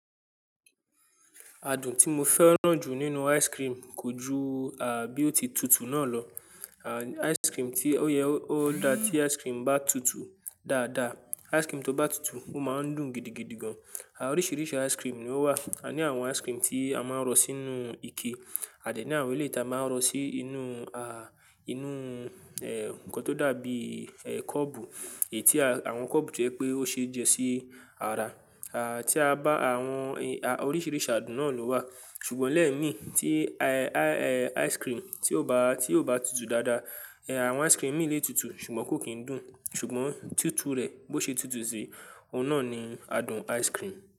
Adùn tí mo fẹ́ràn jù nínú ice cream kò ju, àbí ó ti tutù náà lọ. À, ice cream ti ó yẹ ó dáa tí ice cream bá tutù dáadáa. Ice cream tó bá tutù, ó máa ń dùn gidigidi gan. À oríṣiríṣi ice cream ni ó wà. A ní àwọn ice cream tí a máa ń rọ sínú ike. A dẹ̀ ní àwọn èléyii ta máa ń rọ si ínú, à, inú, e, nǹkan tó dàbí, e, kọ́ọ̀bù. Èyi tí à awọn kọ́ọ̀bu to jẹ́ pé ó ṣe é jẹ́ sí ara. À, tí a bá àwọn, e a, oríṣiríṣi adùn náà ló wà. Ṣùgbọ́n lẹ́ẹ̀mi tí, e ai, e ice cream tí ó bá, tí ó bá tutù dáadáa, e, àwọn ice cream mií lè tutù ṣùgbọ́n kò kín dùn. Ṣùgbọ́n tútù rẹ̀ bó ṣe tutù sí i, òun náà ni adùn ice cream.